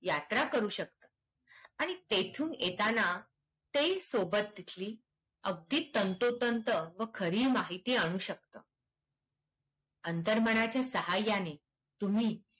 यात्रा करू शकतं. आणि तेथून येताना ते सोबत तिथली तंतोतंत व खरी माहिती आणू शकतं. अंतर्मनाच्या साहायाने तुम्ही